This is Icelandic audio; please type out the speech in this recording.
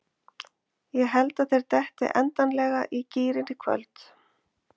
Ég held að þeir detti endanlega í gírinn í kvöld.